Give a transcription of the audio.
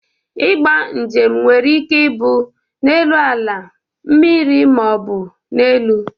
Ịgba njem nwere ike ibụ n'elu ala, mmiri ma ọ bụ n'elu.